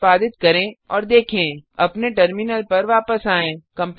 निष्पादित करें और देखें अपने टर्मिनल पर वापस आएँ